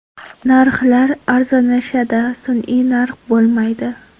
Narxlar arzonlashadi, sun’iy narx bo‘lmaydi.